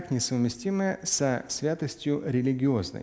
несовместимые со святостью религии